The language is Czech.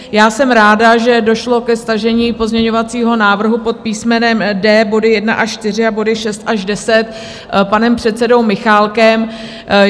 Já jsem ráda, že došlo ke stažení pozměňovacího návrhu pod písmenem D, body 1 až 4 a body 6 až 10 panem předsedou Michálkem.